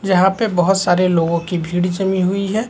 जहाँ पे बहुत सारे लोगों की भीड़ जमी हुई हैं।